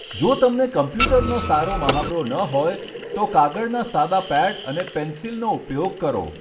જો તમને કમ્પ્યુટરનો સારો મહાવરો ન હોય તો કાગળના સાદા પેડ અને પેન્સિલનો ઉપયોગ કરો.